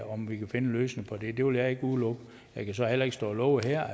om vi kan finde en løsning på det det vil jeg ikke udelukke jeg kan så heller ikke stå og love her at